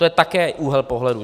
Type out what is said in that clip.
To je také úhel pohledu.